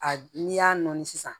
A n'i y'a nɔɔni sisan